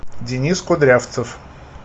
денис кудрявцев